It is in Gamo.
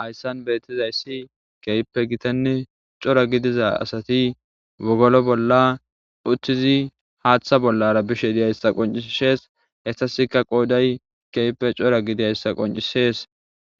Hayssan beetizayssi keehipe gitanne cora gidiza asati wogolo bolla uttizi haatha bollara bishe de'izayssa qonccises hesasika qooday keehippe cora gidizayssa qonccises